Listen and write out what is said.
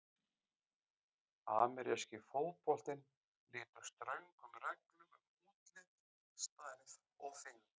Ameríski fótboltinn lýtur ströngum reglum um útlit, stærð og þyngd.